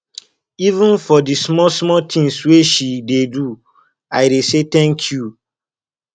even for di smallsmall tins wey she dey do i dey say tank you